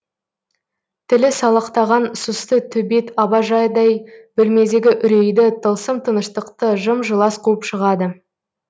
тілі салақтаған сұсты төбет абажадай бөлмедегі үрейді тылсым тыныштықты жым жылас қуып шығады